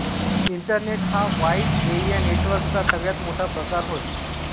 internet हा wide area network चा सगळ्यात मोठा प्रकार होय